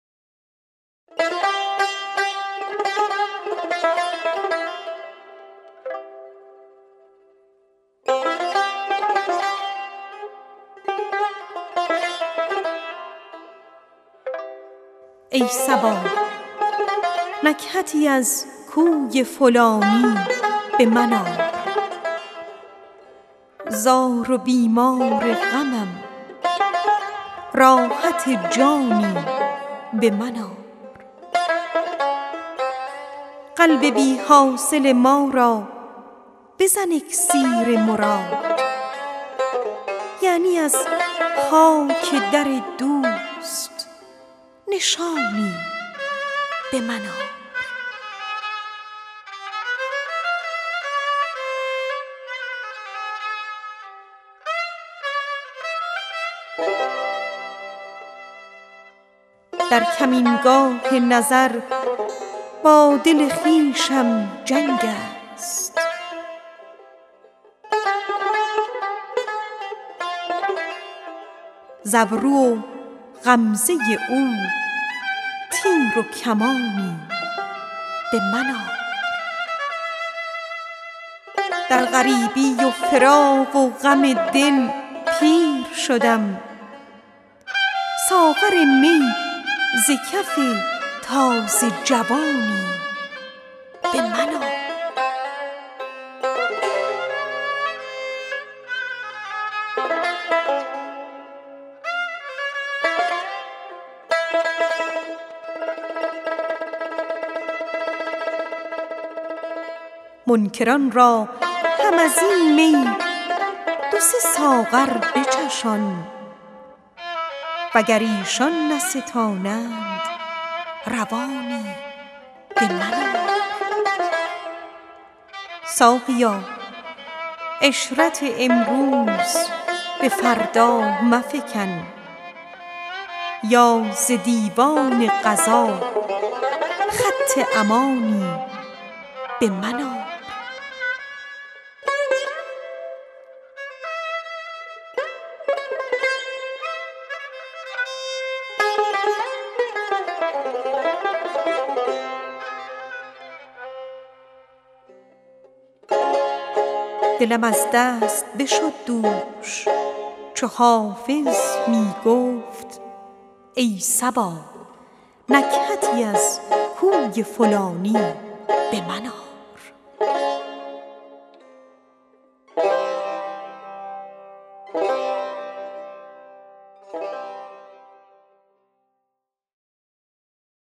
ای صبا نکهتی از کوی فلانی به من آر زار و بیمار غمم راحت جانی به من آر قلب بی حاصل ما را بزن اکسیر مراد یعنی از خاک در دوست نشانی به من آر در کمینگاه نظر با دل خویشم جنگ است ز ابرو و غمزه او تیر و کمانی به من آر در غریبی و فراق و غم دل پیر شدم ساغر می ز کف تازه جوانی به من آر منکران را هم از این می دو سه ساغر بچشان وگر ایشان نستانند روانی به من آر ساقیا عشرت امروز به فردا مفکن یا ز دیوان قضا خط امانی به من آر دلم از دست بشد دوش چو حافظ می گفت کای صبا نکهتی از کوی فلانی به من آر